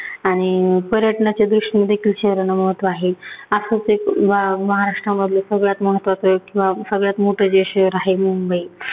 आणि पर्यटनाच्या दृष्टीने देखील शहराला महत्त्व आहे. आत्ताचं एक मा महाराष्ट्रामधलं सगळ्यात महत्त्वाचं एक किंवा सगळ्यात मोठं जे शहर आहे-मुंबई